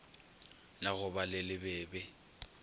la go ba le lebebe